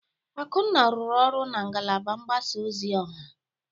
Akunna rụrụ ọrụ na ngalaba mgbasa ozi ọha.